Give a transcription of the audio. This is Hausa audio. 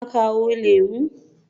Kuna kawo lemu?